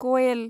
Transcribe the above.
कयेल